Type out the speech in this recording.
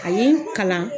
A ye n kalan